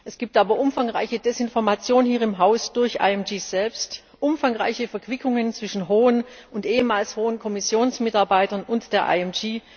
Es gibt aber umfangreiche Desinformation hier im Haus durch IMG selbst, umfangreiche Verquickungen zwischen hohen und ehemals hohen Kommissionsmitarbeitern und der